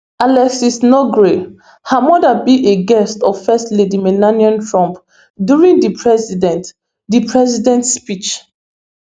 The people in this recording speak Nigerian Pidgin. alexis nungaray her mother be a guest of first lady melania trump during di president di president speech